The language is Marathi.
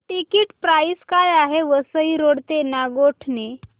टिकिट प्राइस काय आहे वसई रोड ते नागोठणे